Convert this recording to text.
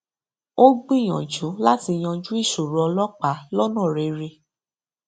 ó gbìyànjú láti yanjú ìṣòro ọlọpàá lónà rere